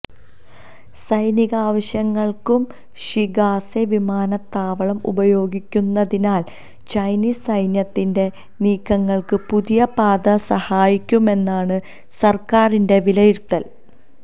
സൈനികാവശ്യങ്ങൾക്കും Shigatse വിമാനത്താവളം ഉപയോഗിക്കുന്നതിനാൽ Chinese സൈന്യത്തിന്റെ നീക്കങ്ങൾക്ക് പുതിയ പാത സഹായിക്കുമെന്നാണ് സർക്കാരിന്റെ വിലയിരുത്തൽ